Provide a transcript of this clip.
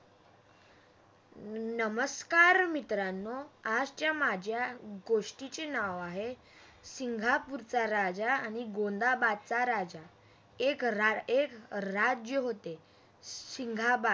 नमस्कार मित्रांनो, आज च्या माझ्या गोष्टीचे नाव आहे, सिंगापूरचा राजा आणि गोंधबादचा राजा एक राज्य होते